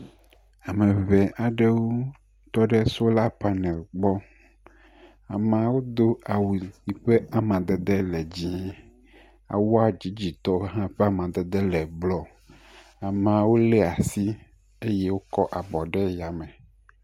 Ame ŋee aɖewo tɔ ɖe sola panɛl gbɔ. Ameawo do awu yi ƒe amdede le dzɛ̃. Awua dzidzitɔ hã ƒe amadede le blɔ. Ameawo lé asi eye wokɔ abɔ ɖe yame.